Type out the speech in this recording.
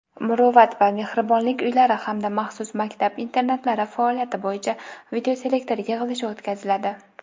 "Muruvvat" va "Mehribonlik" uylari hamda maxsus maktab internatlari faoliyati bo‘yicha videoselektor yig‘ilishi o‘tkaziladi.